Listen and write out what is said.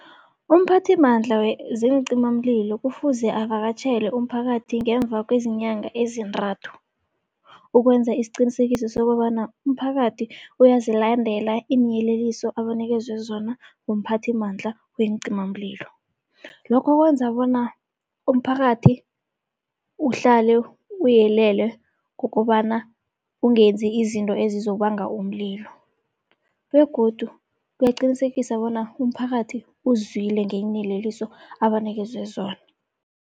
Umphathimandla zeencimamlilo kufuze avakatjhele umphakathi ngemva kwezinyanga ezintathu, ukwenza isiqinisekiso sokobana umphakathi uyazilandela iinyeleliso abanikelwe zona umphathimandla weencimamlilo. Lokho kwenza bona umphakathi uhlale uyelele ngokobana ungenzi izinto ezizobanga umlilo begodu kuyaqinisekisa bona umphakathi uzwile ngeenyeleliso abanikezwe zona.